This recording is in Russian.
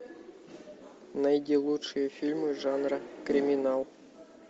найди лучшие фильмы жанра криминал